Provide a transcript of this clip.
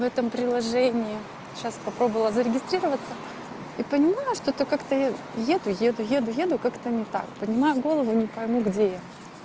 в этом приложении сейчас попробовала зарегистрироваться и понимаю что-то как-то я еду еду еду еду как-то не так понимаю голову не пойму где я